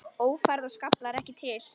Ófærð og skaflar ekki til.